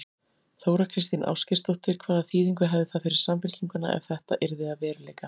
Þóra Kristín Ásgeirsdóttir: Hvaða þýðingu hefði það fyrir Samfylkinguna ef að þetta yrði að veruleika?